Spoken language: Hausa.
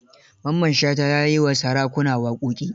Mamman Shata ya yi wa sarakuna waƙoƙi.